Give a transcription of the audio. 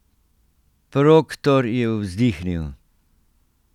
Proktor je vzdihnil.